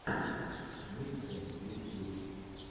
миксы ютьюб